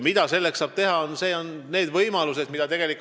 Mida saab riik teha?